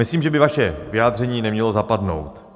Myslím, že by vaše vyjádření nemělo zapadnout.